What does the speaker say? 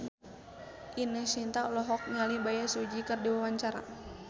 Ine Shintya olohok ningali Bae Su Ji keur diwawancara